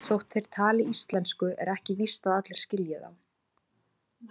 Þótt þeir tali íslensku er ekki víst að allir skilji þá.